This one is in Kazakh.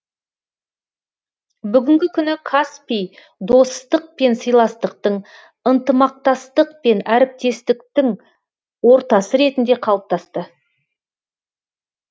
бүгінгі күні каспий достық пен сыйластықтың ынтымақтастық пен әріптестіктің ортасы ретінде қалыптасты